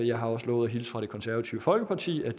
jeg har også lovet at hilse fra det konservative folkeparti og